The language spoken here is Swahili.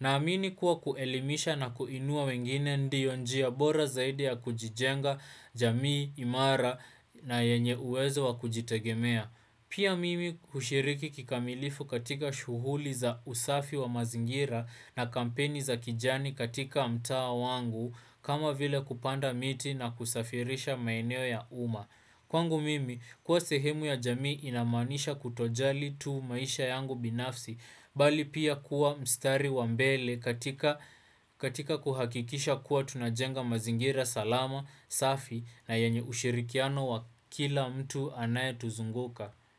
Naamini kuwa kuelimisha na kuinua wengine ndiyo njia bora zaidi ya kujijenga jamii, imara na yenye uwezo wa kujitegemea. Pia mimi kushiriki kikamilifu katika shuhuli za usafi wa mazingira na kampeni za kijani katika mtaa wangu kama vile kupanda miti na kusafirisha maeneo ya umma. Kwangu mimi, kuwa sehemu ya jamii inamanisha kutojali tu maisha yangu binafsi, bali pia kuwa mstari wa mbele katika kuhakikisha kuwa tunajenga mazingira salama, safi na yenye ushirikiano wa kila mtu anayetuzunguka.